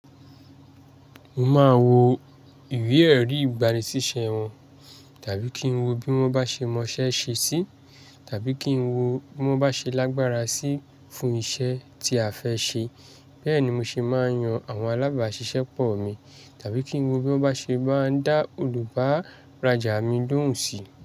Mo máa wo ìwé-ẹ̀rí ìgbani síṣẹ́ wọn, tàbí kí n wo bí wọ́n bá ṣe mọṣẹ́ ṣe sí, tàbí kí n wo bí wọ́n bá ṣe lágbára sí fún iṣẹ́ tí a fẹ́ ṣe. Bẹ́ẹ̀ ni mo ṣe máa yan àwọn alábàáṣiṣẹ́ pọ̀ mi, tàbí kí n wo bí wọ́n bá ṣe máa ń dá olùbá rajá mi lóhùn sí.